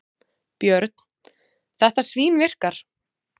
Björn: Þetta svínvirkar?